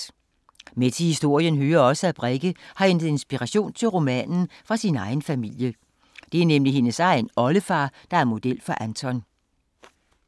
Med til historien hører også, at Brekke har hentet inspiration til romanen fra sin egen familie. Det er nemlig hendes egen oldefar, der er model for Anton.